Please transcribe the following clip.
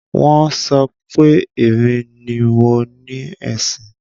Wọ́n so pé èmi ni mo ni ẹṣin.